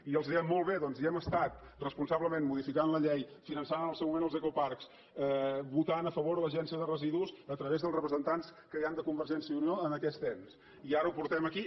i els dèiem molt bé doncs hi hem estat responsablement modificant la llei finançant en el seu moment els ecoparcs votant a favor a l’agència de residus a través dels representants que hi han de convergència i unió en aquest ens i ara ho portem aquí